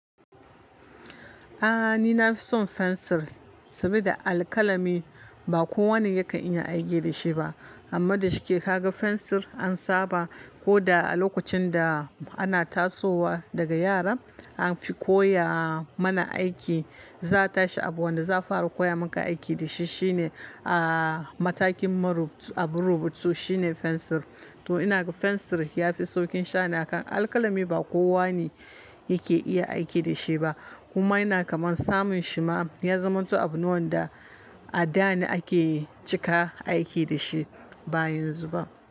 A'a ni na fi son fensir, saboda alkalami ba kowane yakan iya aiki da shi ba. Amma da shike ka ga fensir an saba ko da a lokacin da ana tasowa daga yara an fi koya mana aiki, za ta shi abu wanda za fara koya muka aiki da shi shine, a'a matakin maru abu rubutu shine fensir. To ina ga fensir ya fi saukin sha'ani kan alkalami ba kowane yake iya aiki da shi ba. Kuma yana kaman samun shi ma ya zamanto abu ne wanda a da ne ake cika aiki da shi ba yanzu ba.